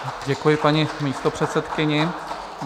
Děkuji paní místopředsedkyni.